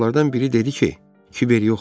Uşaqlardan biri dedi ki, kiber yox olub.